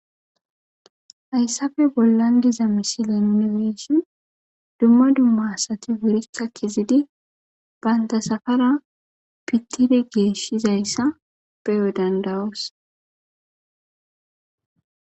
hayssafe bollan diza misile nuni be7ishin dumma dumma asati wuritha kizidi banta safara pittide geeshshizayssa beyo dandayos.